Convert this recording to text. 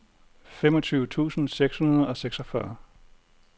femogtyve tusind seks hundrede og seksogfyrre